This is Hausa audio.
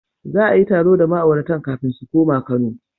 Za a yi taro da ma'auratan kafin su koma Kano.